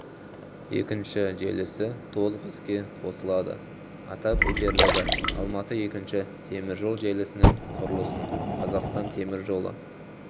екінші желісі толық іске қосылады атап өтерлігі алматы екінші теміржол желісінің құрылысын қазақстан темір жолы